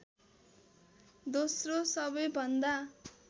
दोस्रो सबै भन्दा